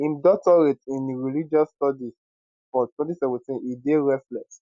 im doctorate in religious studies for 2017 e dey restless